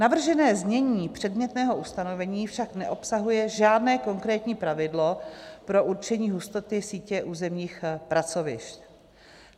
Navržené znění předmětného ustanovení však neobsahuje žádné konkrétní pravidlo pro určení hustoty sítě územních pracovišť.